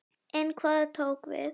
En hvað tók við?